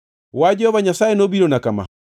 Wach Jehova Nyasaye nobirona kama: